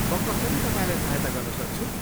म कसरी तपाईँलाई सहायता गर्न सक्छु?